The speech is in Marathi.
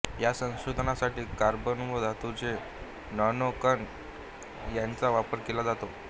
या संशोधनासाठी कार्बन व धातूंचे नॅनो कण यांचा वापर केला जातो